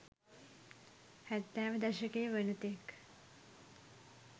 හැත්තෑව දශකය වනතෙක්